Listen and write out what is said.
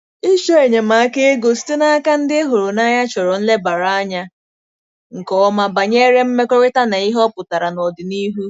Ịchọ enyemaka ego site n'aka ndị ị hụrụ n'anya chọrọ nlebara anya nke ọma banyere mmekọrịta na ihe ọ pụtara n'ọdịnihu.